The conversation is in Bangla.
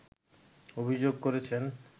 অভিযোগ করেছেন